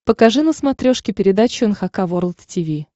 покажи на смотрешке передачу эн эйч кей волд ти ви